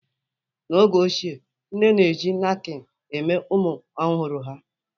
N'oge ochie, nne na-eji nakpin eme ụmụ ọhụrụ ha.